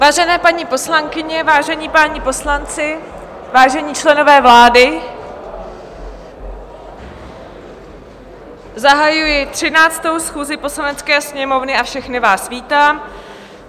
Vážené paní poslankyně, vážení páni poslanci, vážení členové vlády, zahajuji 13. schůzi Poslanecké sněmovny a všechny vás vítám.